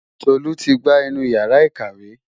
Tolu ti gbá inú Ìyàrá-ìkàwé.